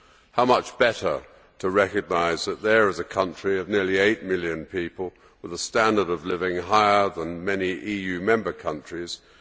How much better to recognise that here is a country of nearly eight million people with a standard of living higher than many EU Member States.